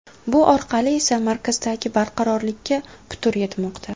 Bu orqali esa markazdagi barqarorlikka putur yetmoqda.